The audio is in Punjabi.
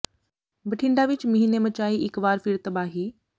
ਬਠਿੰਡਾ ਵਿੱਚ ਮੀਂਹ ਨੇ ਮਚਾਈ ਇੱਕ ਵਾਰ ਫਿਰ ਤਬਾਹੀ